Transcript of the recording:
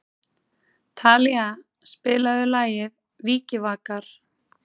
Talía, spilaðu lagið „Vikivakar“.